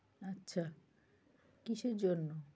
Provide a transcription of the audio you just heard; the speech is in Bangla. আচ্ছা কীসের জন্যে?